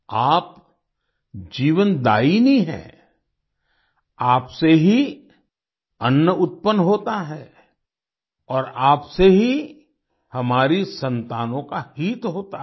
आप जीवनदायिनी हैं आप से ही अन्न उत्पन्न होता है और आप से ही हमारी संतानों का हित होता है